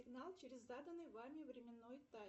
давай соберем голос